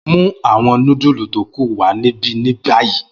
Mu awọn nudulu to ku wa nibi ni bayi!